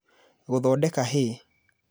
Gũthondeka hay